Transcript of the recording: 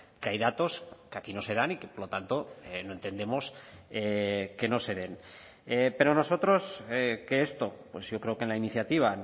que hay datos que aquí no se dan y que por lo tanto no entendemos que no se den pero nosotros que esto pues yo creo que en la iniciativa